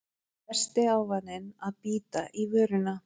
Versti ávaninn að bíta í vörina